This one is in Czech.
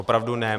Opravdu ne.